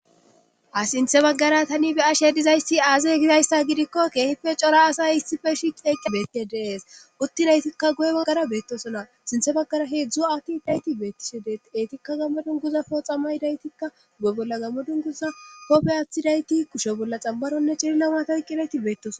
ha sinthe baggara tani be ashe dizayssi aazey gizayssa gidikko keehipe cora asay hissife shi qeeq beete deees uttinaytikka guye baggara beettosona sinthe baggara heedzdzu aatti dayti beettishe dee eetikka gammodun guza pooxamay daytikka guye bolla gammodun guza hoppe aathidayti kushe bolla xambaronne cililla waata wyqqinayti beettoso